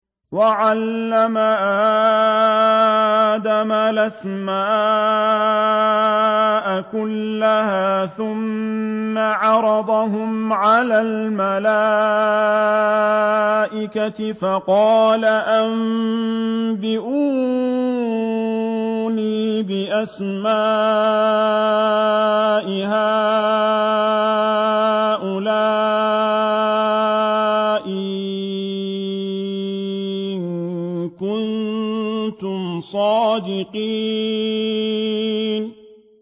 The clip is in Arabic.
وَعَلَّمَ آدَمَ الْأَسْمَاءَ كُلَّهَا ثُمَّ عَرَضَهُمْ عَلَى الْمَلَائِكَةِ فَقَالَ أَنبِئُونِي بِأَسْمَاءِ هَٰؤُلَاءِ إِن كُنتُمْ صَادِقِينَ